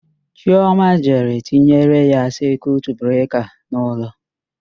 Chioma jere tinyere ya sekiut breka n'ụlọ.